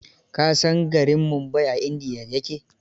Ka san garin Mumbai a India ya ke?